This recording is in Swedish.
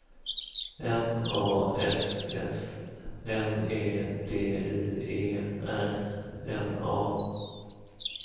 M A S S M E D I E R N A